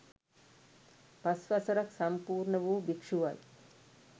පස් වසරක් සම්පූර්ණ වූ භික්ෂුවයි.